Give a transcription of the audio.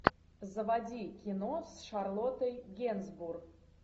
заводи кино с шарлоттой генсбур